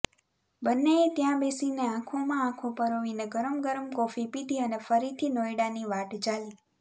બંનેએ ત્યાં બેસીનેે આંખોમાં આંખો પરોવીને ગરમ ગરમ કોફી પીધી અને ફરીથી નોઇડાની વાટ ઝાલી